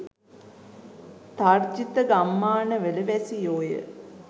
තර්ජිත ගම්මාන වල වැසියෝය.